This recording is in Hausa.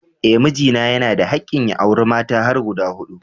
Eh mijina yana da hakkin ya auri mata har guda hudu